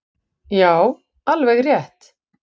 """Já, alveg rétt."""